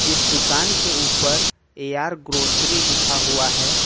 इस दुकान के ऊपर ए_आर ग्रोसरी लिखा हुआ है।